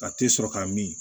Ka te sɔrɔ ka min